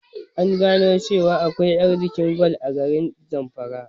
An gano cewa akwai arzikin gwal a garin zamfara